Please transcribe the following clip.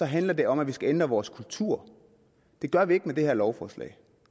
handler det om at vi skal ændre vores kultur det gør vi ikke med det her lovforslag